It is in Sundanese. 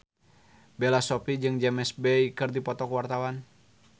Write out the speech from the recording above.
Bella Shofie jeung James Bay keur dipoto ku wartawan